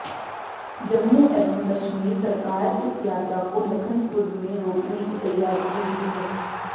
जम्मू एवं कश्मीर सरकार इस यात्रा को लखनपुर में रोकने की तैयारी में जुटी है